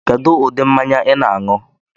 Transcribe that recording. Kedu ụdị mmanya I na-anu?